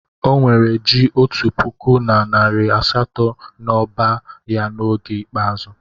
O nwere ji otu puku na nari asato n'ọba ya n'oge ikpeazụ.